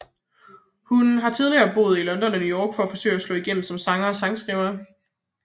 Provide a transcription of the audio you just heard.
Hun har tidligere boet i London og New York for at forsøge at slå igennem som sanger og sangskriver